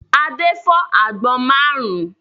Adé fọ́ àgbọn márùn-ún.